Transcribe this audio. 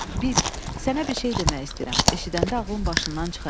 Bil, sənə bir şey demək istəyirəm, eşidəndə ağlın başından çıxacaq.